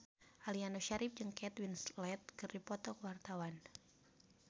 Aliando Syarif jeung Kate Winslet keur dipoto ku wartawan